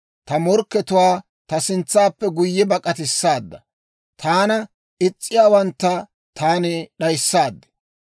Ta morkkatuwaa ta sintsappe guyye bak'atissaada; taana is's'iyaawantta taani d'ayissaad.